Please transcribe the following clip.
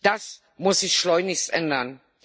Das muss sich schleunigst ändern.